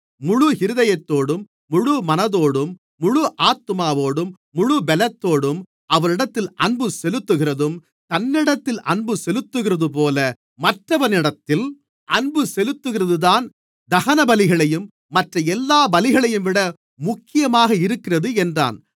முழு இருதயத்தோடும் முழு மனதோடும் முழு ஆத்துமாவோடும் முழுப் பலத்தோடும் அவரிடத்தில் அன்பு செலுத்துகிறதும் தன்னிடத்தில் அன்பு செலுத்துகிறதுபோல மற்றவனிடத்தில் அன்பு செலுத்துகிறதுதான் தகனபலிகளையும் மற்ற எல்லா பலிகளையும்விட முக்கியமாக இருக்கிறது என்றான்